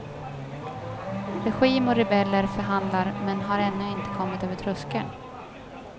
Regim och rebeller förhandlar men har ännu inte kommit över tröskeln.